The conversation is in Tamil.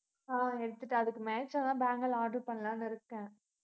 ஆஹ் எடுத்திட்டேன், அதுக்கு match ஆனா தான் bangles order பண்ணலாம்ன்னு இருக்கேன்